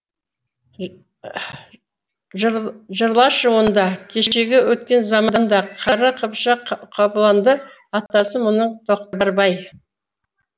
жырлашы онда кешегі өткен заманда қара қыпшақ қобыланды атасы мұның тоқтарбай